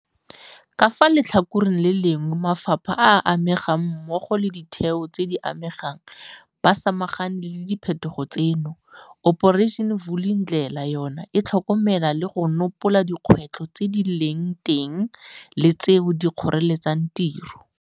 Fa ka fa letlhakoreng le lengwe mafapha a a amegang mmogo le ditheo tse di amegang ba samagane le diphetogo tseno, Operation Vulindlela yona e tlhokomela le go nopola dikgwetlho tse di leng teng le tseo di kgoreletsang tiro.